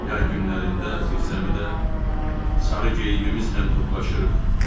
Yay günlərində zirzəmidə sarı geyimimizlə toplaşırıq.